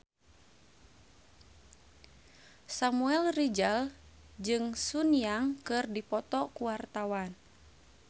Samuel Rizal jeung Sun Yang keur dipoto ku wartawan